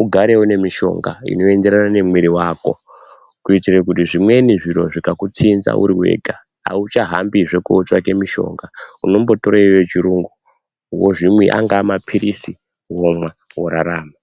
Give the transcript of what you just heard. ugare unemishonga inoenderana nemwiri wako kuitire kuti zvimweni zviro zvikakutsinza uri wega auchahambihe kotsvake mushonga, unombotore iyoyo yechirungu, angaa mapilizi womwa worarama.